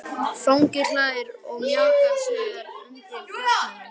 Fanginn hlær og mjakar sér undan fjallinu.